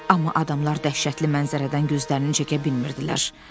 Amma adamlar dəhşətli mənzərədən gözlərini çəkə bilmədilər.